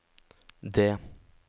D